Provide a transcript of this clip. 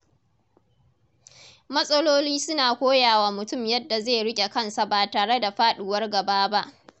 Matsaloli suna koya wa mutum yadda zai riƙe kansa ba tare da faɗuwar gaba ba.